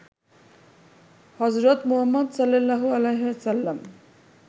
হজরত মুহাম্মদ সা.